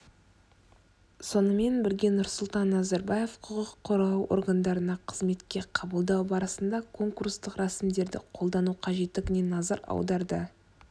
сонымен бірге нұрсұлтан назарбаев құқық қорғау органдарына қызметке қабылдау барысында конкурстық рәсімдерді қолдану қажеттігіне назар аударды